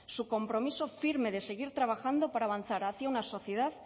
su compromiso firme de seguir trabajando para avanzar hacia una sociedad